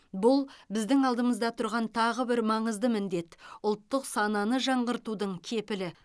бұл біздің алдымызда тұрған тағы бір маңызды міндет ұлттық сананы жаңғыртудың кепілі